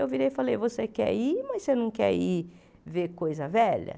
Eu virei e falei, você quer ir, mas você não quer ir ver coisa velha?